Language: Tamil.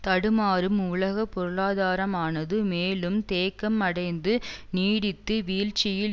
தடுமாறும் உலக பொருளாதாரமானது மேலும் தேக்கம் அடைந்து நீடித்து வீழ்ச்சியில்